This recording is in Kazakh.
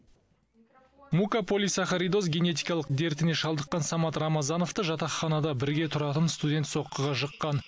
мукополисахаридоз генетикалық дертіне шалдыққан самат рамазановты жатақханада бірге тұратын студент соққыға жыққан